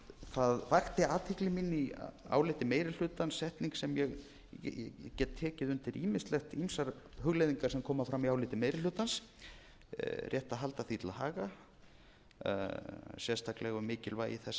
það vakti athygli mína í áliti meiri hlutans setning sem ég ég get tekið undir ýmsar hugleiðingar sem koma fram í áliti meiri hlutans rétt að halda því til haga sérstaklega um mikilvægi þess að